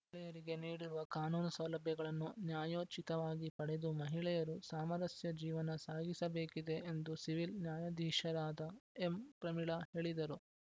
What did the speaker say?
ಮಹಿಳೆಯರಿಗೆ ನೀಡಿರುವ ಕಾನೂನು ಸೌಲಭ್ಯಗಳನ್ನು ನ್ಯಾಯೋಚಿತವಾಗಿ ಪಡೆದು ಮಹಿಳೆಯರು ಸಾಮರಸ್ಯ ಜೀವನ ಸಾಗಿಸಬೇಕಿದೆ ಎಂದು ಸಿವಿಲ್ ನ್ಯಾಯಾಧೀಶರಾದ ಎಂ ಪ್ರಮೀಳಾ ಹೇಳಿದರು